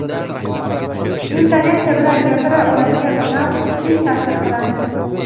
intonatsiya bilan gapira oladigan odam tez ta’sir qiladi.